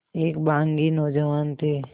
एक बाग़ी नौजवान थे